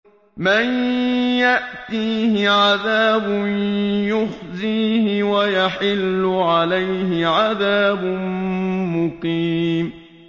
مَن يَأْتِيهِ عَذَابٌ يُخْزِيهِ وَيَحِلُّ عَلَيْهِ عَذَابٌ مُّقِيمٌ